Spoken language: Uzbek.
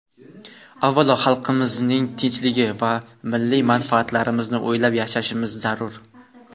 avvalo xalqimizning tinchligi va milliy manfaatlarimizni o‘ylab yashashimiz zarur.